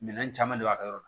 Minɛn caman b'a ka yɔrɔ la